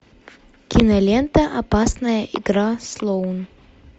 кинолента опасная игра слоун